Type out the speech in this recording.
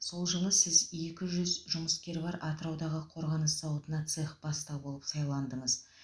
сол жылы сіз екі жүз жұмыскері бар атыраудағы қорғаныс зауытына цех бастығы болып сайландыңыз